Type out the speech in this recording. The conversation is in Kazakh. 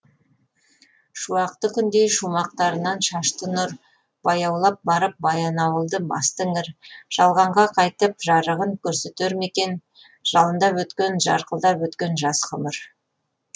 шуақты күндей шумақтарынан шашты нұр баяулап барып баянауылды басты іңір жалғанға қайтіп жарығын көрсетер ме екен жалындап өткен жарқылдап өткен жас ғұмыр